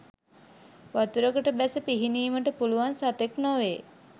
වතුරකට බැස පිහිනීමට පුළුවන් සතෙක් නොවේ.